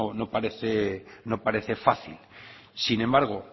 no parece fácil sin embargo